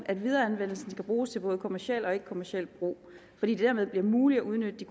at videreanvendelsen skal bruges til både kommerciel og ikkekommerciel brug fordi det dermed bliver muligt at udnytte